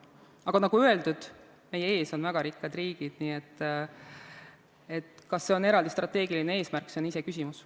Aga nagu öeldud, meie ees on väga rikkad riigid, nii et kas see on eraldi strateegiline eesmärk, see on iseküsimus.